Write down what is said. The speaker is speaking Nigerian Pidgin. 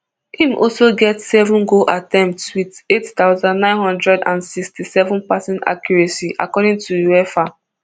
im also get seven goal attempts wit eight thousand, nine hundred and sixty-seven passing accuracy according to uefa